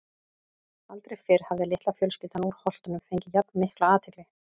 Aldrei fyrr hafði litla fjölskyldan úr Holtunum fengið jafn mikla athygli.